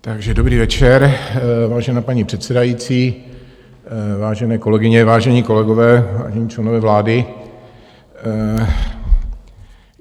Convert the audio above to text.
Dobrý večer, vážená paní předsedající, vážené kolegyně, vážení kolegové, vážení členové vlády.